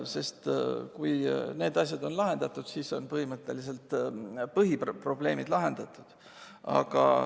Kui need asjad on lahendatud, siis on põhiprobleemid lahendatud.